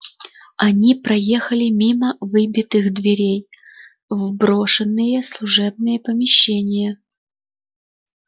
они проехали мимо выбитых дверей в брошенные служебные помещения